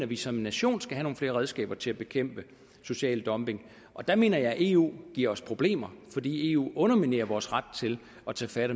vi som nation skal have nogle flere redskaber til at bekæmpe social dumping der mener jeg at eu giver os problemer fordi eu underminerer vores ret til at tage fat